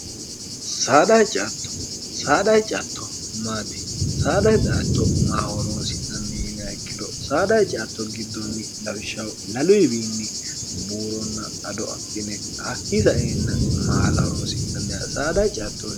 dctto saadahi catto maati saadhahi xato maahoroonsi'nnnin ikkiro saadhahi catto giddonni lawishsha lalu yiwiinni buuronna ado adhine hakkiisaeenna maalahoroonsi'nni saadahi cttoh